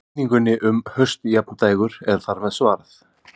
Spurningunni um haustjafndægur er þar með svarað.